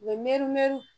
U bɛ mɛri mɛriw